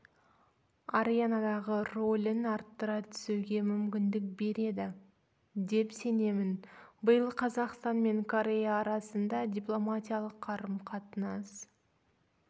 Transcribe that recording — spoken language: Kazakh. аренадағы рөлін арттыра түсуге мүмкіндік береді деп сенемін биыл қазақстан мен корея арасында дипломатиялық қарым-қатынас